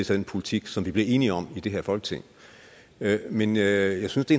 den politik som vi blev enige om i det her folketing men jeg synes det